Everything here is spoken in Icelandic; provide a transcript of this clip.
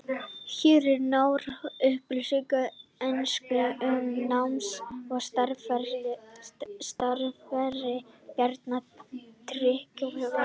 Hér eru nánari upplýsingar á ensku um náms- og starfsferil Bjarna Tryggvasonar.